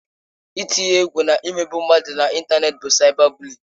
Ị tinye egwu na imegbu mmadụ na ịntanetị bụ saịba bụliịn.